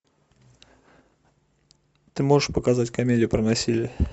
ты можешь показать комедию про насилие